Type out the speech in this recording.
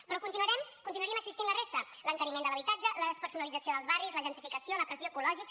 però continuarien existint la resta l’encariment de l’habitatge la despersonalització els barris la gentrificació la pressió ecològica